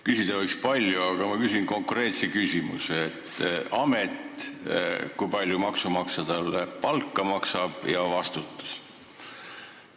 Küsida võiks palju, aga ma küsin konkreetselt: amet, kui palju maksumaksja seal palka maksab ja vastutus.